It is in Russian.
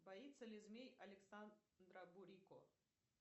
боится ли змей александра бурико